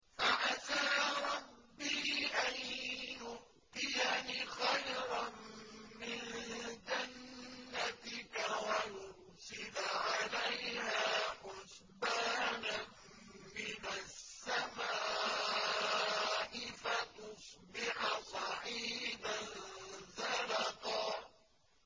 فَعَسَىٰ رَبِّي أَن يُؤْتِيَنِ خَيْرًا مِّن جَنَّتِكَ وَيُرْسِلَ عَلَيْهَا حُسْبَانًا مِّنَ السَّمَاءِ فَتُصْبِحَ صَعِيدًا زَلَقًا